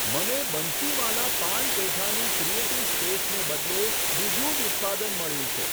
મને બંસીવાલા પાન પેઠાની ક્રીએટીવ સ્પેસને બદલે બીજું જ ઉત્પાદન મળ્યું છે.